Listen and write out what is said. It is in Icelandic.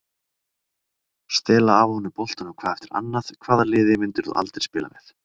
Stela af honum boltanum hvað eftir annað Hvaða liði myndir þú aldrei spila með?